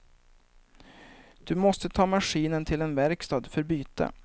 Du måste ta maskinen till en verkstad för byte.